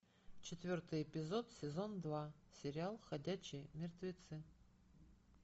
четвертый эпизод сезон два сериал ходячие мертвецы